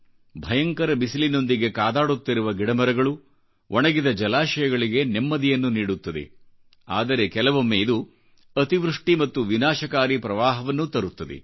ಭಯಂಕರ ಬಿಸಿಲಿನೊಂದಿಗೆಕಾದಾಡುತ್ತಿರುವ ಗಿಡಮರಗಳು ಒಣಗಿದ ಜಲಾಶಯಗಳಿಗೆ ನೆಮ್ಮದಿಯನ್ನು ನೀಡುತ್ತದೆ ಆದರೆ ಕೆಲವೊಮ್ಮೆ ಇದು ಅತೀವೃಷ್ಟಿ ಮತ್ತು ವಿನಾಶಕಾರಿಪ್ರವಾಹವನ್ನೂ ತರುತ್ತದೆ